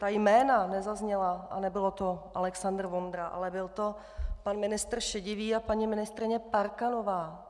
Ta jména nezazněla a nebyl to Alexandr Vondra, ale byl to pan ministr Šedivý a paní ministryně Parkanová.